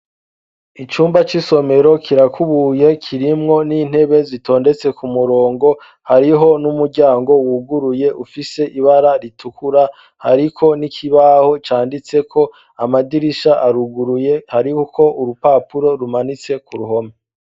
Icumba c'isomero kirakubuye kirimwo n'intebe zitondetse ku murongo, hariho n'umuryango wuguruye ufise ibara ritukura, hariko n'ikibaho canditseko amadirisha aruguruye hariho uko urupapuro rumanitse ku ruhome.